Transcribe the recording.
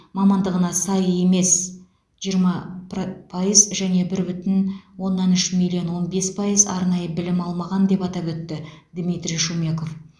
мамандығына сай емес жиырма пра пайыз және бір бүтін оннан үш миллион он бес пайыз арнайы білім алмаған деп атап өтті дмитрий шумеков